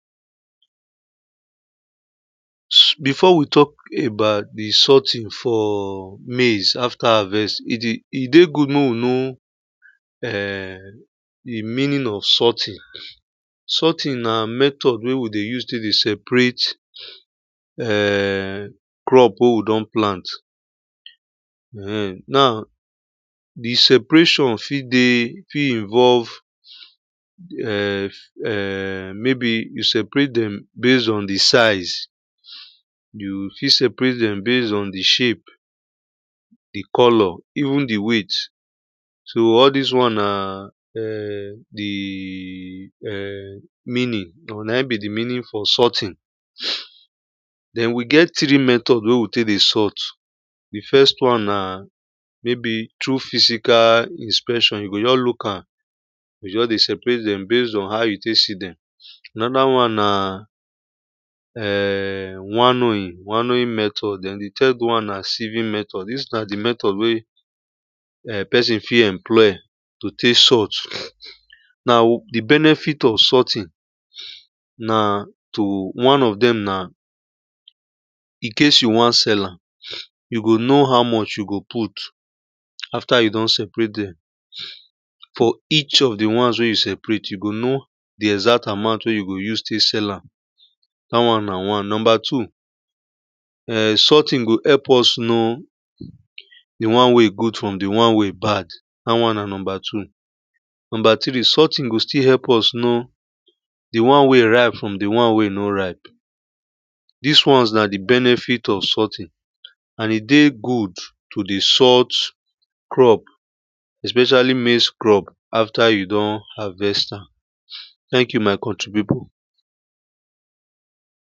Before we talk about the sorting for maize after harvest, it um good make we know um the meaning of sorting. Sorting na method wey we dey use take dey separate um crop wey we don plant. um Now, the separation fit dey fit involve um um um maybe you separate them based on the size. You fit separate them based on the shape, the color, even the weight. So all these one na um the um the meaning, na him be the meaning for sorting. Then we get three method wey we take dey sort. The first one na maybe through physical inspection, you go just look am, we go just separate them based on how you take see them. Another one na um um winnowing, winnowing method and the third one na sieving method. These na the method wey person fit employ to take sort. Now, the benefit of sorting na to, one of them na in case you want sell am, you go know how much you go put after you don separate them. For each of the ones wey you separate, you go know the exact amount wey you go use take sell am. That one na one. Number two, um sorting go help us know the one wey good from the one wey bad. That one na number two. Number three, sorting go still help us know the one wey ripe from the one wey no ripe. These ones na the benefit of sorting, and it dey good to dey sort crop, especially maize crop after you don harvest am. Thank you, my contri people.